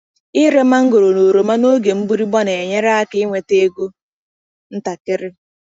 Ire mangoro na oroma n’oge mgbịrịgba na-enyere aka ị nweta ego ntakịrị.